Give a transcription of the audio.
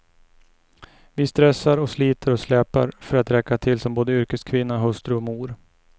Vi stressar och sliter och släpar för att räcka till som både yrkeskvinna, hustru och mor.